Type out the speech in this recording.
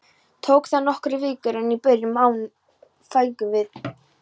Tók það nokkrar vikur, en í byrjun maí fengum við